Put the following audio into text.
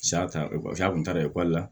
a kun taara ekɔli la